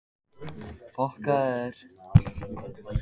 Uni, hvað er í dagatalinu í dag?